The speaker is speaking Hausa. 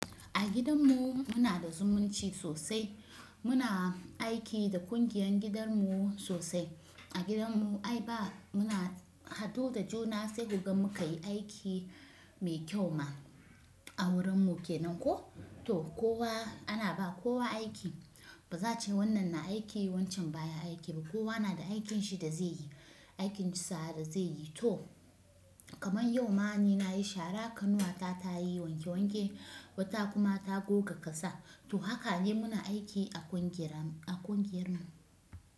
A gidan mu muna da zumunci sosai. Muna aiki da ƙungiyar gidan mu sosai. A gidan mu ai ba muna hadu da juna sai kuga muka yi aiki mai kyau ma a wurin mu kenan ko. To kowa ana ba kowa aiki. Ba za a ce wannan na aiki yi, wancan baya aiki ba. Kowa na da aikin shi da zai yi, aikin sa da zai yi. To kamar yau ma ni nayi shara, kanuwa ta ta yi wanke wanke, wata kuma ta goga ƙasa. To haka ne muna aiki a ƙungiyar mu, a ƙungiyar mu.